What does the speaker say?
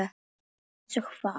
Eins og hvað?